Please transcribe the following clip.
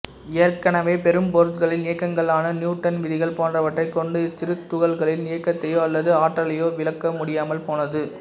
ஏற்கனவே பெரும்பொருட்களின் இயக்கங்களுக்கான நியூட்டன் விதிகள் போன்றவற்றைக் கொண்டு இச்சிறு துகள்களின் இயக்கத்தையோ அல்லது ஆற்றலையோ விளக்க முடியாமல் போனது